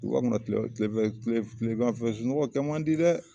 Duguba kɔnɔ kile fɛ kile fɛ tileganfɛ sunɔgɔ kɛ man di dɛ